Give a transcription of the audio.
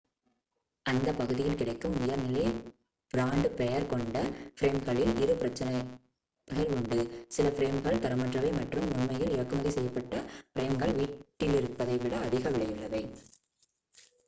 அந்த பகுதிகளில் கிடைக்கும் உயர்நிலை பிராண்டு பெயர் கொண்ட ஃபிரேம்களில் இரு பிரச்சினைகள் உண்டு சில ஃபிரேம்கள் தரமற்றவை மற்றும் உண்மையில் இறக்குமதி செய்யப்பட்ட ஃபிரேம்கள் வீட்டிலிருப்பதைவிட அதிக விலையுள்ளவை